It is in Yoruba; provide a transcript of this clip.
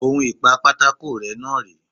On ìpa pátákó rẹ́ náà rèé.